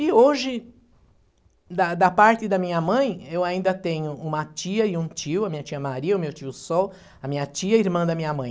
E hoje, da da parte da minha mãe, eu ainda tenho uma tia e um tio, né, a minha tia Maria, o meu tio Sol, a minha tia, irmã da minha mãe.